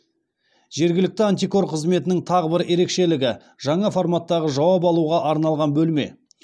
жергілікті антикор қызметінің тағы бір ерекшелігі жаңа форматтағы жауап алуға арналған бөлме